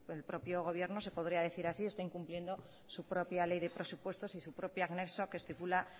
el propio gobierno se podría decir así está incumpliendo su propia ley de presupuestos y su propio anexo que estipula